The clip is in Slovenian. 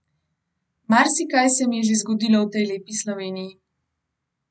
Marsikaj se mi je že zgodilo v tej lepi Sloveniji.